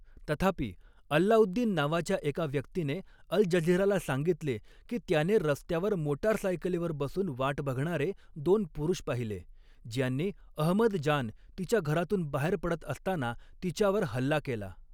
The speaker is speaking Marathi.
तथापि, अल्लाउद्दीन नावाच्या एका व्यक्तीने अल् जझीराला सांगितले, की त्याने रस्त्यावर मोटारसायकलीवर बसून वाट बघणारे दोन पुरुष पाहिले, ज्यांनी अहमद जान तिच्या घरातून बाहेर पडत असताना तिच्यावर हल्ला केला.